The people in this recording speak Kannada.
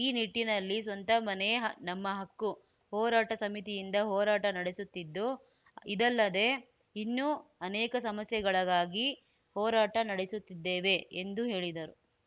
ಈ ನಿಟ್ಟಿನಲ್ಲಿ ಸ್ವಂತ ಮನೆ ನಮ್ಮ ಹಕ್ಕು ಹೋರಾಟ ಸಮಿತಿಯಿಂದ ಹೋರಾಟ ನಡೆಸುತ್ತಿದ್ದು ಇದಲ್ಲದೇ ಇನ್ನೂ ಅನೇಕ ಸಮಸ್ಯೆಗಳಗಾಗಿ ಹೋರಾಟ ನಡೆಸುತ್ತಿದ್ದೇವೆ ಎಂದು ಹೇಳಿದರು